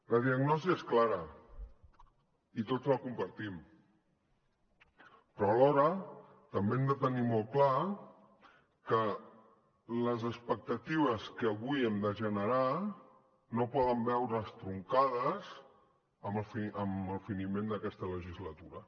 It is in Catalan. la diagnosi és clara i tots la compartim però alhora també hem de tenir molt clar que les expectatives que avui hem de generar no poden veure’s truncades amb el finiment d’aquesta legislatura